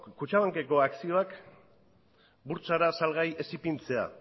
kutxabankeko akzioak burtsara salgai ez ipintzea